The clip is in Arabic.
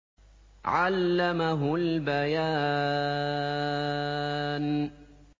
عَلَّمَهُ الْبَيَانَ